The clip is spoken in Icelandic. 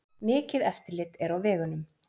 Mikið eftirlit er á vegunum